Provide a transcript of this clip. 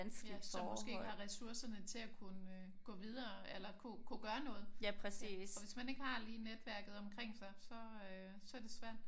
Ja som måske ikke har ressourcerne til at kunne øh gå videre eller kunne kunne gøre noget. Og hvis man ikke har lige netværket omkring sig så er det svært